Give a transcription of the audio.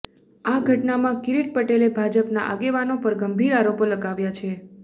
આ ઘટનામાં કિરીટ પટેલે ભાજપના આગેવાનો પર ગંભીર આરોપો લગાવ્યા છે